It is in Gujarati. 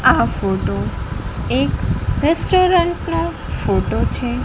આ ફોટો એક રેસ્ટોરન્ટ નો ફોટો છે.